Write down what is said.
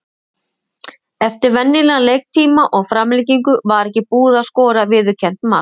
Eftir venjulegan leiktíma, og framlengingu var ekki búið að skora viðurkennt mark.